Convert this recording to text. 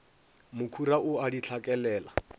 mokhura o a di hlakelela